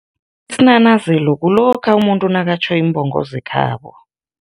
Isinanazelo kulokha umuntu nakatjho iimbongo zekhabo.